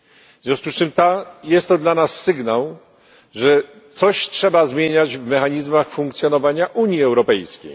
W związku z czym jest to dla nas sygnał, że coś trzeba zmieniać w mechanizmach funkcjonowania Unii Europejskiej.